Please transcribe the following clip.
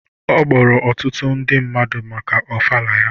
Ọ kpọrọ ọtụtụ ndị mmadụ maka ofala ya.